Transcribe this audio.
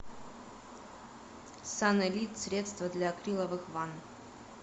санэлит средство для акриловых ванн